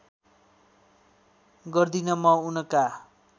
गर्दिन म उनका